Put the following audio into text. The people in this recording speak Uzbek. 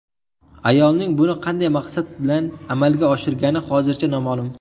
Ayolning buni qanday maqsad bilan amalga oshirgani hozircha noma’lum.